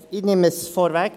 Ich nehme es vorweg: